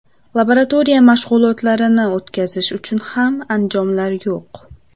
Laboratoriya mashg‘ulotlarini o‘tkazish uchun ham anjomlar yo‘q.